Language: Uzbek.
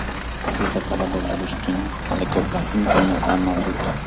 Sizda talaba bo‘lish uchun hali ko‘plab imkoniyatlar mavjud!